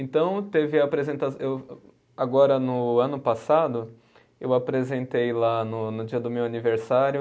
Então, teve a apresenta eu, agora no ano passado, eu apresentei lá no no dia do meu aniversário,